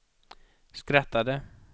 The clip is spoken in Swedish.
skrattade